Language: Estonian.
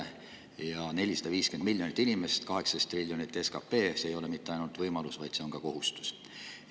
Ja 450 miljonit inimest ja SKP 18 triljonit, siis see ei ole mitte ainult võimalus, vaid see on ka kohustus.